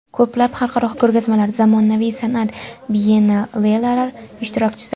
Ko‘plab xalqaro ko‘rgazmalar, zamonaviy san’at biyennalelar ishtirokchisi.